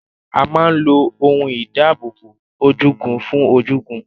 A máa ń lo ohun ìdáábòbò ojúgun fún ojúgun.